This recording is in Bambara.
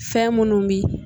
Fɛn minnu bi yen